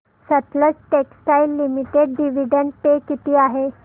Sutlej textiles limited dividend pay किती आहे